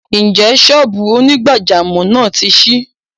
Ǹjẹ́ ṣọ́ọ́bù onígbàjámọ̀ náà ti ṣí?